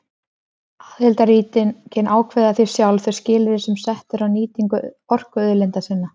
Aðildarríkin ákveða því sjálf þau skilyrði sem sett eru á nýtingu orkuauðlinda sinna.